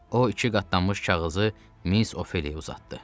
O iki qatlanmış kağızı Miss Ophelia uzatdı.